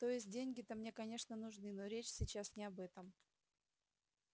то есть деньги-то мне конечно нужны но речь сейчас не об этом